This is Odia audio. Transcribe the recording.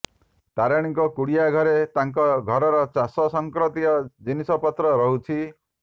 ତାରିଣୀଙ୍କ କୁଡିଆ ଘରେ ତାଙ୍କ ଘରର ଚାଷ ସଂକ୍ରାନ୍ତୀୟ ଜିନିଷ ପତ୍ର ରହୁଛି